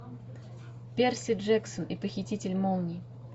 перси джексон и похититель молний